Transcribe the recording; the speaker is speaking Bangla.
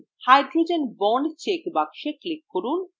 hydrogen bond check box click করুন